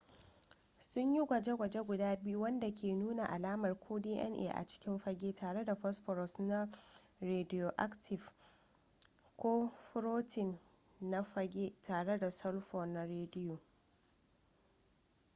sunyi gwaje-gwaje guda biyu wanda ke nuna alamar ko dna a cikin fage tare da phosphorus na rediyoaktif ko furotin na phage tare da sulfur na rediyo